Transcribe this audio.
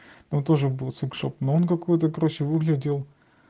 ну тоже будет секс шоп но он какой-то короче выглядел